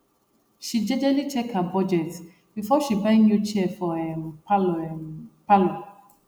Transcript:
she jejely check her budget before she buy new chair for her um parlour um parlour